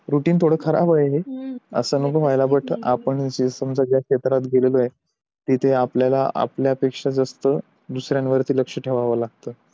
routine थोडं खराब आहे हे हम्म असं नको व्हायला बट आपण समझा ज्या क्षेत्रात गेलेलो आहे तिथे आपल्याला आपल्या पेक्षा दुसऱ्यांवर लक्ष ठेवावं लागत